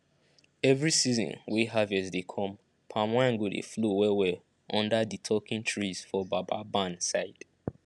every season wey harvest dey come palm wine go dey flow wellwell under di talking trees for baba barn side